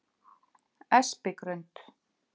Espigrund